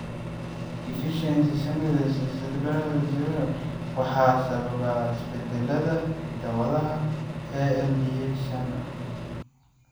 Deficiency Succinic semialdehyde dehydrogenase (SSADH) waxaa sababa isbeddellada hidda-wadaha ALDH shan A hal.